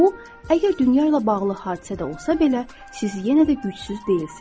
Bu, əgər dünya ilə bağlı hadisə də olsa belə, siz yenə də gücsüz deyilsiz.